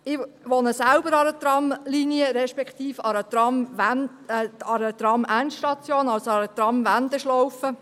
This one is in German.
Ich wohne an einer Tramlinie, respektive an einer Tramwendeschlaufe.